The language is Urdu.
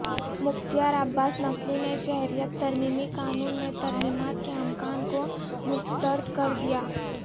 مختار عباس نقوی نے شہریت ترمیمی قانون میں ترمیمات کے امکان کو مسترد کردیا